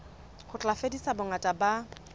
ho tla fedisa bongata ba